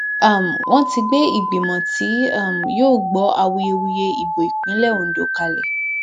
um wọn ti gbé ìgbìmọ tí um yóò gbọ awuyewuye ìbò ìpínlẹ ondo kalẹ